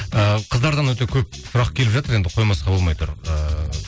ыыы қыздардан өте көп сұрақ келіп жатыр енді қоймасқа болмай тұр ыыы